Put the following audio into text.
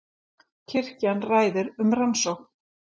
Kirkjan ræðir um rannsókn